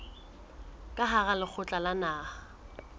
ka hara lekgotla la naha